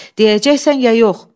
Deyəcəksən ya yox?